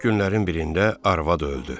Günlərin birində arvad öldü.